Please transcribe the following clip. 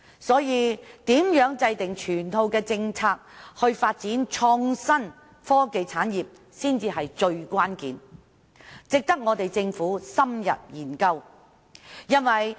所以，如何制訂整套政策以發展創新科技產業，才是最關鍵的問題，值得政府深入研究。